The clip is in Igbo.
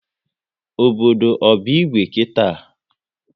Obodo ọ bụ Igwe kita?